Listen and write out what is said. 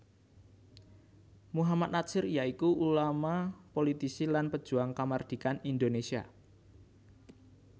Muhammad Natsir ya iku ulama politisi lan pejuang kamardhikan Indonésia